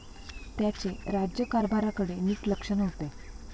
त्याचे राज्यकारभारकडे नीट लक्ष नव्हते.